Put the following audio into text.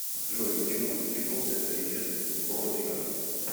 джой почему застрелился ричард бротиган